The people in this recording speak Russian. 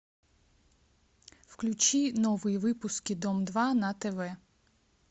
включи новые выпуски дом два на тв